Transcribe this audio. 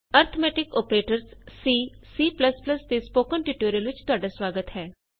arithmetic operators in C C ਦੇ spoken tutorial ਵਿਚ ਤੁਹਾਡਾ ਸੁਆਗਤ ਹੈ